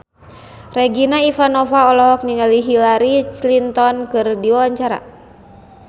Regina Ivanova olohok ningali Hillary Clinton keur diwawancara